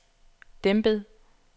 dæmpet